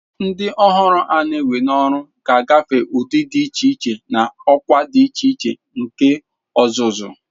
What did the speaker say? Ndị ọhụrụ a na-ewe n'ọrụ ga-agafe ụdị dị iche iche na ọkwa dị iche iche nke ọzụzụ.